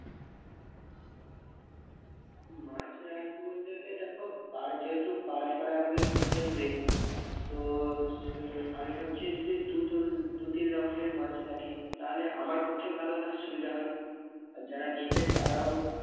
মাছ রাখবো বলতে গেলে দেখো পা~ যেহেতু পাড়ায় পাড়ায় আমাকে ঘুরতে হবে তো সে~আমি ভাবছি যদি দু দু-তিন রকমের মাছ রাখি তাহালে আমার পক্ষে ভালো হয় সুবিধা হয় আর যারা নেবে তারাও-